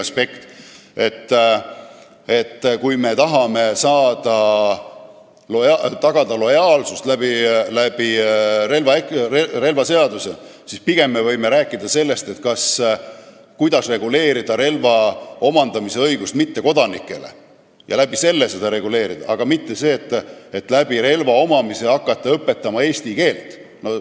Selle asemel, et tagada relvaseaduse abil lojaalsust, me võiksime pigem rääkida sellest, kuidas reguleerida mittekodanike õigust relva omandada, ja reguleerida seda selle kaudu, aga mitte nii, et relva omamise soovi ära kasutades hakata eesti keelt õpetama.